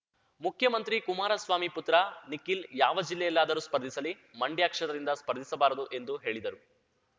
ಮುಖ್ಯಮಂತ್ರಿ ಕುಮಾರಸ್ವಾಮಿ ಪುತ್ರ ನಿಖಿಲ್‌ ಯಾವ ಜಿಲ್ಲೆಯಾಲ್ಲಾದರೂ ಸ್ಪರ್ಧಿಸಲಿ ಮಂಡ್ಯ ಕ್ಷೇತ್ರದಿಂದ ಸ್ಪರ್ಧಿಸಬಾರದು ಎಂದು ಹೇಳಿದರು